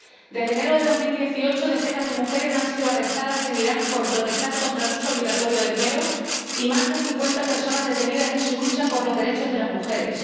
Desde enero de 2018 decenas de mujeres han sido arrestadas en Irán por protestar contra el uso obligatorio del velo, y más de cincuenta personas detenidas en su lucha por los derechos de las mujeres.